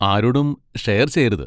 ആരോടും ഷെയർ ചെയ്യരുത്...